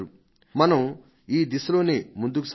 మనం ఈ దిశలోనే ముందుకు సాగాలి